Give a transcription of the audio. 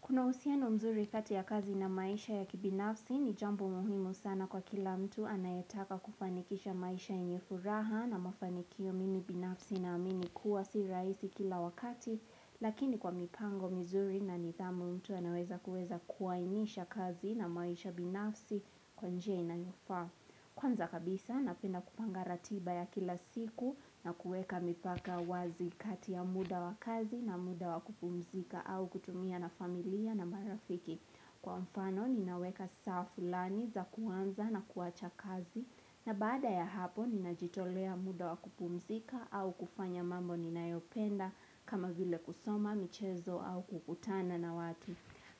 Kuna uhusiano mzuri kati ya kazi na maisha ya kibinafsi ni jambu muhimu sana kwa kila mtu anayetaka kufanikisha maisha yenye furaha na mafanikio mimi binafsi na amini kuwa si raisi kila wakati, lakini kwa mipango mzuri na nidhamu mtu anaweza kuweza kuainisha kazi na maisha binafsi kwa njia inayofaa. Kwanza kabisa napenda kupanga ratiba ya kila siku na kuweka mipaka wazi kati ya muda wa kazi na muda wa kupumzika au kutumia na familia na marafiki. Kwa mfano ninaweka safaa fulani za kuanza na kuaacha kazi na bada ya hapo ninajitolea muda wa kupumzika au kufanya mambo ninayopenda kama vile kusoma, michezo au kukutana na watu.